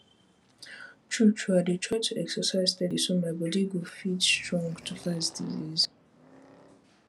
true true i dey try do exercise steady so my my bodi go fit and strong to fight disease